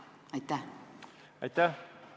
Aitäh!